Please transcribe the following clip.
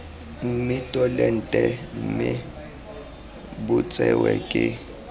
mmitolente mme bo tsewe ke